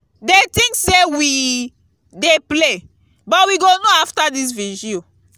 dey think say we dey play but we go know after dis vigil